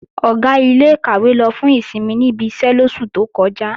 Ọ̀gá ilé-ìkàwé lọ fún ìsinmi níbi iṣẹ́ lóṣù tó kọjá